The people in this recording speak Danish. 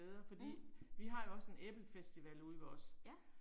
Mh. Ja